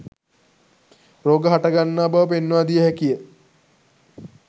රෝග හට ගන්නා බව පෙන්වා දිය හැකිය.